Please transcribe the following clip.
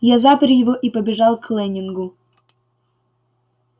я запер его и побежал к лэннингу